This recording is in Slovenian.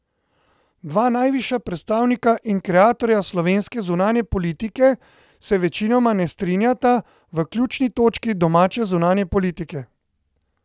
Dva najvišja predstavnika in kreatorja slovenske zunanje politike se večinoma ne strinjata v ključni točki domače zunanje politike.